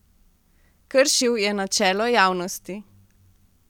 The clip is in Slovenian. Kršil je načelo javnosti.